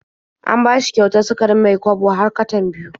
An bashi kyautar sukarin Mai-kwabo har katan biyu.